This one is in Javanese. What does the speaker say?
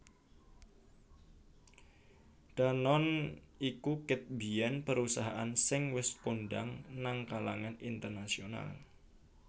Danone iku ket biyen perusahaan sing wes kondang nang kalangan internasional